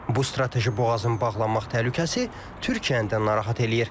Bu strateji boğazın bağlanmaq təhlükəsi Türkiyəni də narahat eləyir.